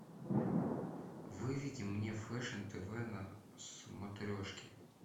выведи мне фэшн тв на смотрешке